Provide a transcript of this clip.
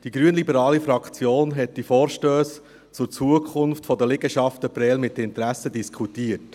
Die grünliberale Fraktion hat die Vorstösse zur Zukunft der Liegenschaften Prêles mit Interesse diskutiert.